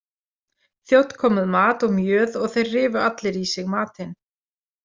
Þjónn kom með mat og mjöð og þeir rifu allir í sig matinn.